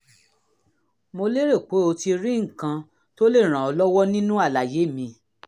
mo lérò pé o ti rí nǹkan tó lè ràn ọ́ lọ́wọ́ nínú àlàyé mi